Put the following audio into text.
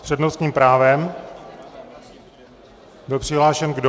S přednostním právem byl přihlášen kdo?